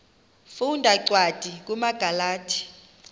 funda cwadi kumagalati